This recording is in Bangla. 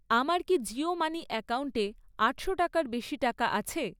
আমার কি জিও মানি অ্যাকাউন্টে আটশো টাকার বেশি টাকা আছে?